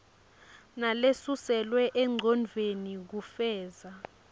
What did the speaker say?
nalesuselwe engcondvweni kufeza